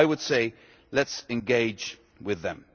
So I would say, let us engage with them.